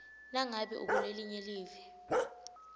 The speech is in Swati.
nangabe ukulelinye live